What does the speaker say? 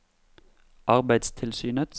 arbeidstilsynets